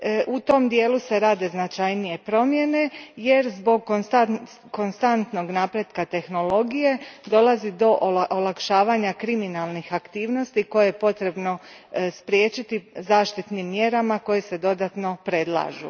U tom dijelu se rade značajnije promjene jer zbog konstantnog napretka tehnologije dolazi do olakšavanja kriminalnih aktivnosti koje je potrebno spriječiti zaštitnim mjerama koje se dodatno predlažu.